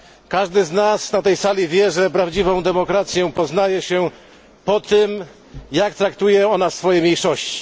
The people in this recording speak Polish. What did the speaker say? Każdy z nas na tej sali wie, że prawdziwą demokrację poznaje się po tym, jak traktuje ona swoje mniejszości.